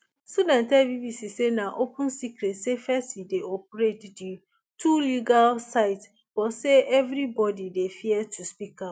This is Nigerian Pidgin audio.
students tell bbc say na open secret say fesci dey operate di two illegal sites but say evribodi dey fear to speak out